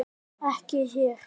Ekki hér.